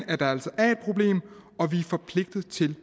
at problem og at vi er forpligtet til